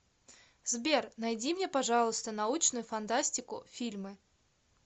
сбер найди мне пожалуйста научную фантастику фильмы